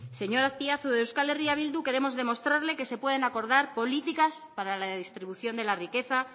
señor azpiazu desde euskal herria bildu queremos demostrarle que se pueden acordar políticas para la distribución de la riqueza